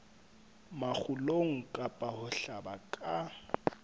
makgulong kapa ho hlaba ka